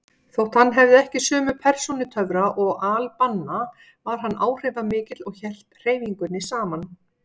Þótt hann hefði ekki sömu persónutöfra og al-Banna var hann áhrifamikill og hélt hreyfingunni saman.